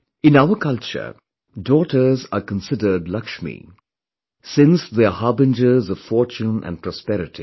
In our culture, daughters are considered Laxmi, since they are harbinger of fortune and prosperity